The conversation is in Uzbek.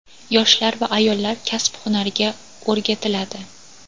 yoshlar va ayollar kasb-hunarga o‘rgatiladi.